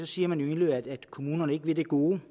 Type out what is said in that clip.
siger man jo egentlig at at kommunerne ikke vil det gode